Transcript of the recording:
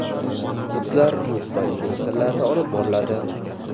Kurslar rus va ingliz tillarida olib boriladi.